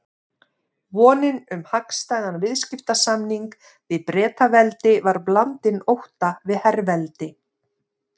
Vonin um hagstæðan viðskiptasamning við Bretaveldi var blandin ótta við herveldi